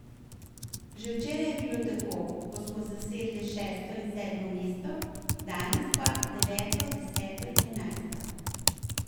Že včeraj je bilo tako, ko smo zasedle šesto in sedmo mesto, danes pa deveto, deseto in enajsto.